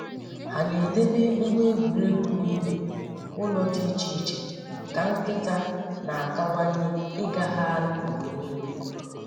Ha na-edobe ngwa egwuregwu n'ime ụlọ dị iche iche ka nkịta na-akawanye ịgagharị mgbe niile.